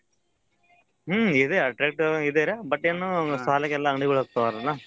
ಹ್ಮ್ ಇದೆ attractive ಆಗಿದೆ but ಏನೂ ಸಾಲಾಗಿ ಎಲ್ಲಾ ಅಂಗಡಿಗಳಾಕ್ತಾವರಲ್ಲ.